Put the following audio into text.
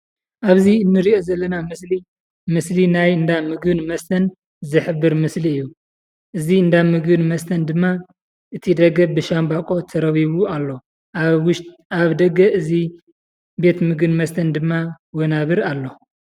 አብዚ እንሪኦ ዘለና ምስሊ ምስሊ ናይ እንዳ ምግብን መስተን ዝሕብር ምስሊ እዩ ። እዚ እንዳ ምግብን መስተን ድማ እቲ ደገ ብሻምባቆ ተረቢቡ አሎ። አብ ውሽጢ አብ ደገ እዚ ቤት ምግብን መስተን ድማ ወናብር አሎ።